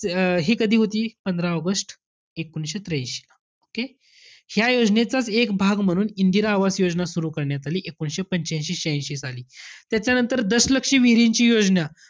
अं हे कधी होती? पंधरा ऑगस्ट एकोणीशे त्र्यांशी. ठीके? या योजनेचाच एक भाग म्हणून इंदिरा आवास योजना सुरु करण्यात आली, एकोणीशे पंच्यांशी श्यांह्याशी साली. त्याच्यानंतर दशलक्षी विहिरींची योजना,